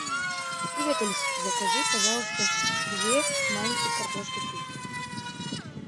привет алиса закажи пожалуйста две маленькие картошки фри